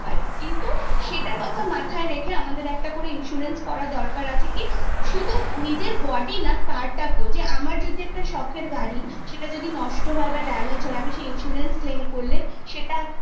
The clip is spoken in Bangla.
কিন্তু সেটার কথা মাথায় রেখে আমাদের একটা করে insurance করানোরসর দরকার আছে কি শুধু নিজের body না car টাকেও যে আমসর যদি একটা সখের গাড়ি সেটা যদি নষ্ট হয় বা damage হয় insurance claim করলে